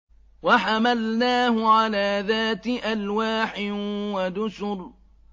وَحَمَلْنَاهُ عَلَىٰ ذَاتِ أَلْوَاحٍ وَدُسُرٍ